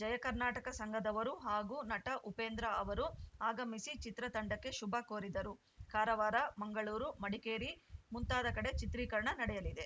ಜಯ ಕರ್ನಾಟಕ ಸಂಘದವರು ಹಾಗೂ ನಟ ಉಪೇಂದ್ರ ಅವರು ಆಗಮಿಸಿ ಚಿತ್ರತಂಡಕ್ಕೆ ಶುಭ ಕೋರಿದರು ಕಾರವಾರ ಮಂಗಳೂರು ಮಡಿಕೇರಿ ಮುಂತಾದ ಕಡೆ ಚಿತ್ರೀಕರಣ ನಡೆಯಲಿದೆ